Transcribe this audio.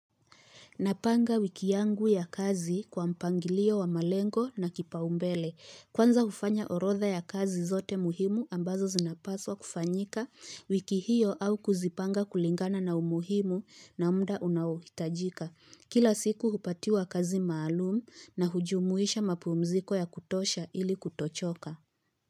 Napanga wiki yangu ya kazi kwa mpangilio wa malengo na kipaumbele. Kwanza ufanya orotha ya kazi zote muhimu ambazo zinapaswa kufanyika wiki hiyo au kuzipanga kulingana na umuhimu na mda unaohitajika. Kila siku hupatiwa kazi maalumu na hujumuisha mapumziko ya kutosha ili kutochoka.